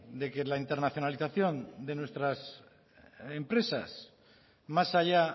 de que la internacionalización de nuestras empresas más allá